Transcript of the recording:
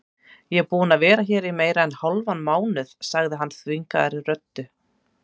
Ég er búinn að vera hér í meira en hálfan mánuð sagði hann þvingaðri röddu.